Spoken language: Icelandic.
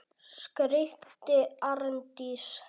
skríkti Arndís.